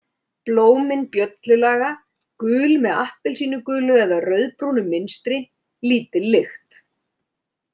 Blómin bjöllulaga, gul, með appelsínugulu eða rauðbrúnu mynstri, lítil lykt.